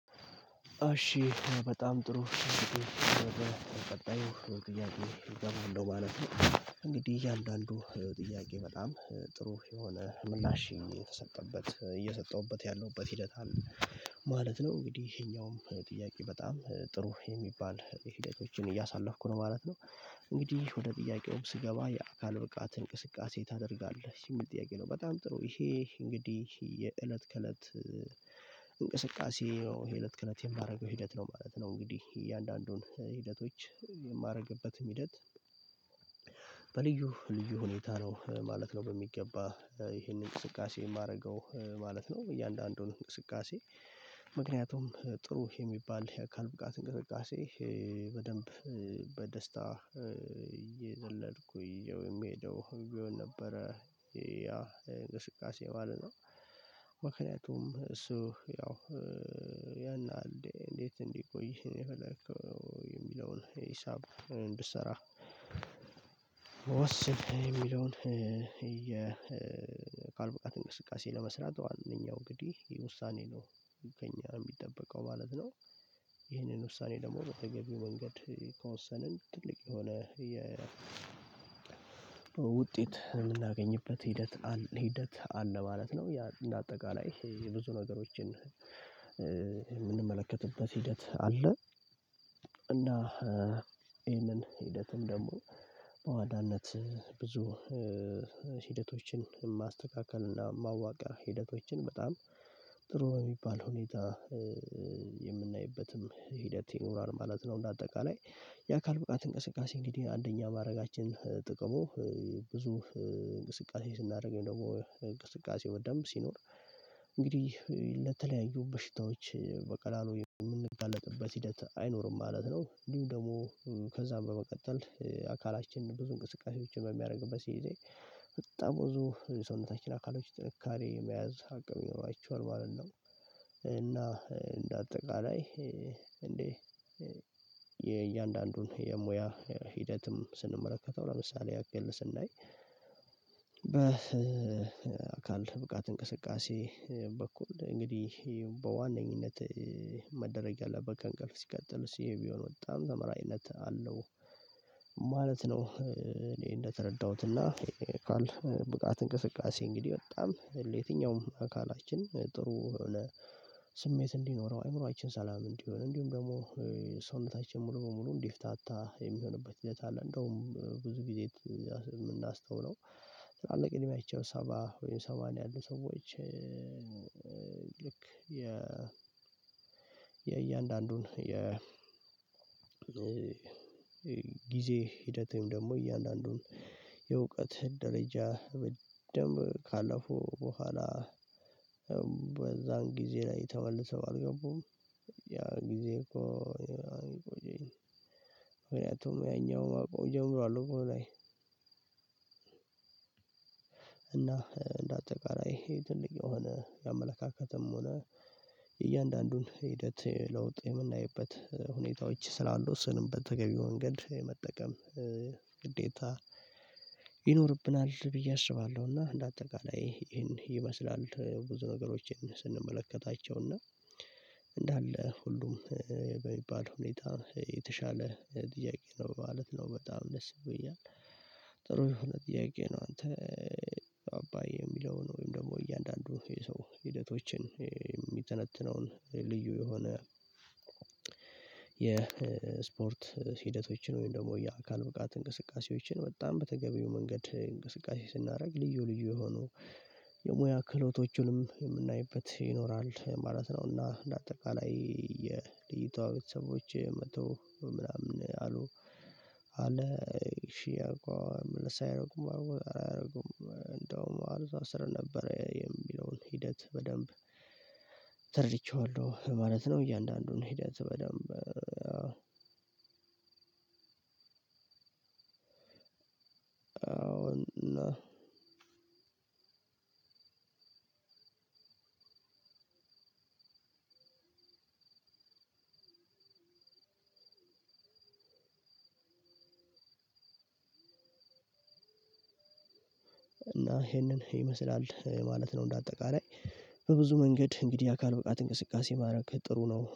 እሺ በጣም ጥሩ ወደ ቀጣዩ ጥያቄ እገባለሁ ማለት ነው እንግዲህ እያንዳንዱ ጥያቄ በጣም ጥሩ የሆነ ምላሽ የተሰጠበት እየሰጠሁበት ያለሁበት ሂደት አለ ማለት ነው። እንግዲህ ይሄኛውም ጥያቄ በጣም ጥሩ የሚባል ሂደቶችን እያሳለፍኩ ነው ማለት ነው። እንግዲህ ወደ ጥያቄው ስገባ የአካል ብቃት እንቅስቃሴ ታደርጋለህ የሚል ጥያቄ ነው። በጣም ጥሩ ይሄ እንግዲህ የእለት ከእለት እንቅስቃሴ ነው ይሄ እለት ከእለት የማደርገው ሂደት ነው ማለት ነው። እንግዲህ እያንዳንዱን ሂደቶች የማደርግበትም ሂደት በልዩ ልዩ ሁኔታ ነው ማለት ነው። በሚገባ ይሄንን እንቅስቃሴ የማደርገው ማለት ነው እያንዳንዱን እንቅስቃሴ ምክንያቱም ጥሩ የሚባል የአካል ብቃት እንቅስቃሴ በደንብ በደስታ እየዘለልኩኝ የሚሄደው ቢሆን ነበረ ያ እንቅስቃሴ ባለ ነው። ምክንያቱም እሱ ያው ያን ያህል እንዴት እንዲህ ቆይ የሚለውን ሂሳብ እንድትሰራ ወስን የሚለውን የአካል ብቃት እንቅስቃሴ ለመስራት ዋነኛው እንግዲህ ውሳኔ ነው። ከእኛ የሚጠበቀው ማለት ነው። ይሄንን ውሳኔ ደግሞ በተገቢ መንገድ ከወሰንን ትልቅ የሆነ የ ውጤት የምናገኝበት ሂደት ሂደት አለ ማለት ነው። እንደ አጠቃላይ የብዙ ነገሮችን የምንመለከትበት ሂደት አለ። እና ይሄንን ሂደትም ደግሞ በዋናነት ብዙ ሂደቶችን ማስተካከል እና ማዋቀር ሂደቶችን በጣም ጥሩ በሚባል ሁኔታ የምናይበትም ሂደት ይኖራል ማለት ነው። እንደ አጠቃላይ የአካል ብቃት እንቅስቃሴ እንግዲህ አንደኛ ማድረጋችን ጥቅሙ ብዙ እንቅስቃሴ ስናደርግ ወይም ደግሞ እንቅስቃሴ በደንብ ሲኖር እንግዲህ ለተለያዩ በሽታዎች በቀላሉ የምንጋለጥበት ሂደት አይኖርም ማለት ነው። እንዲሁም ደግሞ ከዛ በመቀጠል አካላችን ብዙ እንቅስቃሴዎችን በሚያደርግበት ጊዜ በጣም ብዙ ሰውነታችን አካሎች ጥንካሬ መያዝ አቅም ይኖራቸዋል ማለት ነው። እና እንደ አጠቃላይ እንዴ የእያንዳንዱን የሙያ ሂደትም ስንመለከተው ለምሳሌ አቅልለን ስናይ በአካል ብቃት እንቅስቃሴ በኩል እንግዲህ በዋነኝነት መደረግ ያለበት ከእንቅልፍ ሲቀጥል እሱ ቢሆን በጣም ተመራጭነት አለው። ማለት ነው እኔ እንደተረዳሁት እና አካል ብቃት እንቅስቃሴ እንግዲህ በጣም ለየትኛውም አካላችን ጥሩ የሆነ ስሜት እንዲኖረው አይምሮአችን ሰላም እንዲሆን እንዲሁም ደግሞ ሰውነታችን ሙሉ በሙሉ እንድፍታታ የሚሆንበት ሂደት አለ። እንደውም ብዙ ጊዜ የምናስተውለው ትላልቅ እድሜያቸው ሰባ ወይም ሰማንያ ያሉት ሰዎች ልክ የ የእያንዳንዱን የ ጊዜ ሂደት ወይም ደግሞ እያንዳንዱን የእውቀት ደረጃ በደምብ ካለፉ በኋላ በዛን ጊዜ ላይ ተመልሰው አልገቡም ያን ጊዜ እኮ ምክንያቱም ያኛው ማቆም ጀምሯል። እና እንደ አጠቃላይ ትልቅ የሆነ የአመለካከትም ሆነ የእያንዳንዱን ሂደት ለውጥ የምናይበት ሁኔታዎች ስላሉ ስንም በተገቢው ወንገድ መጠቀም ግዴታ ይኖርብናል ብዬ አስባለሁ። እና እንደ አጠቃላይ ይሄን ይመስላል ብዙ ነገሮችን ስንመለከታቸው እና እንዳለ ሁሉም በሚባል ሁኔታ የተሻለ ጥያቄ ነው ማለት ነው። በጣም ደስ ይለኛል። ጥሩ የሆነ ጥያቄ ነው። አንተ አባይ የሚለው ወይም ደግሞ እያንዳንዱ የሰው ሂደቶችን የሚተነትነውን ልዩ የሆነ የስፖርት ሂደቶችን ወይም ደግሞ የአካል ብቃት እንቅስቃሴዎችን በጣም በተገቢው መንገድ እንቅስቃሴ ስናደርግ ልዩ ልዩ የሆኑ የሙያ ክህሎቶቹንም የምናይበት ይኖራል ማለት ነውና። እንደ አጠቃላይ የልጅቷ ቤተሰቦች መጥተው ምናምን አሉ አለ ሺህ አኳይ ምልስ አያደርጉም አልወጣም አያደርጉም እንደውም አልዛ ስር ነበረ የሚለውን ሂደት በደንብ ተርድቼዋለሁ ማለት ነው። እያንዳንዱን ሂደት በደንብ አሁን ን እና ይሄንን ይመስላል ማለት ነው። እንደ አጠቃላይ በብዙ መንገድ እንግዲህ አካል ብቃት እንቅስቃሴ ማድረግ ጥሩ ነው